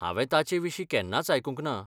हांवें ताचे विशीं केन्नाच आयकूंक ना.